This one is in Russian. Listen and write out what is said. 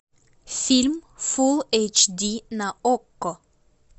фильм фулл эйч ди на окко